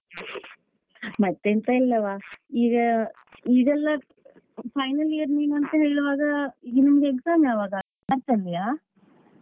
ಮತ್ತೆ ಎಂತ ಇಲ್ಲವ ಈಗ ಈಗೆಲ್ಲಾ final year ನೀನುಂತ ಹೇಳ್ವಾಗ ಈಗ ನಿಮ್ಗೆ exam ಯಾವಾಗ ಮಾರ್ಚ್ ಅಲ್ಲಿಯಾ?